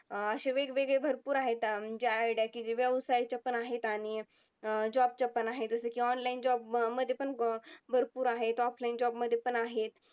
अं अशे वेगवेगळे भरपूर आहेत म्हणजे idea की व्यवसायच्या पण आहेत आणि अं job च्या पण आहेत. जसे की online job मध्ये पण भरपूर आहेत. offline job मध्ये पण आहेत.